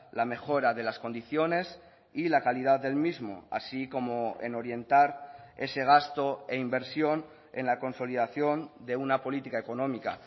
la mejora de las condiciones y la calidad del mismo así como en orientar ese gasto e inversión en la consolidación de una política económica